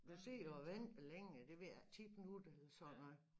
Du sidder og venter længe det ved jeg ikke 10 minutter eller sådan noget